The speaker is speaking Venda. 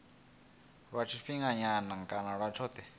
lwa tshifhinganyana kana lwa tshothe